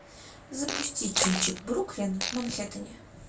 запусти кинчик бруклин в манхэттене